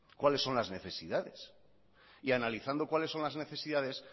cuáles son las necesidades y analizando cuáles son las necesidades